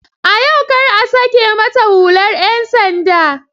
A yau kar a sake mata hular 'yan sanda!